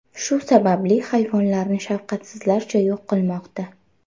Shu sababli hayvonlarni shafqatsizlarcha yo‘q qilmoqda.